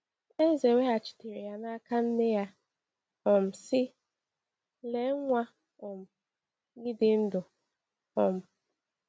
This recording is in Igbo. Eze weghachitere ya n’aka nne ya um sị: “Lee, nwa um gị dị ndụ.” um